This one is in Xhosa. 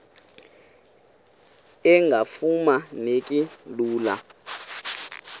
engafuma neki lula